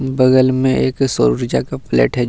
बगल में एक सौर ऊर्जा का प्लेट है।